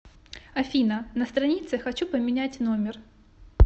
афина на странице хочу поменять номер